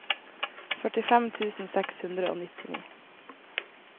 førtifem tusen seks hundre og nittini